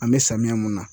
An bɛ samiya mun na